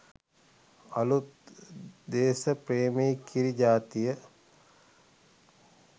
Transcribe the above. අළුත් දේස ප්‍රේමී කිරි ජාතිය